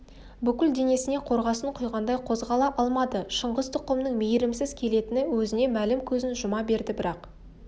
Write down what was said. бүкіл денесіне қорғасын құйғандай қозғала алмады шыңғыс тұқымының мейірімсіз келетіні өзіне мәлім көзін жұма берді бірақ